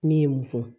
Ne ye mun fɔ